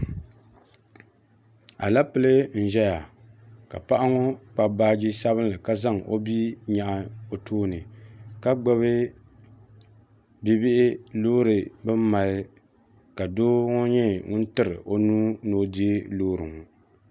Aleple zɛya ka paɣa ŋɔ Kpabi baaji sabinli ka zaŋ o bia nyɛɣi o tooni ka gbubi bibihi loori bini mali ka doo ŋɔ nyɛ ŋuni tiri o nuu ni o diɛgi loori ŋɔ.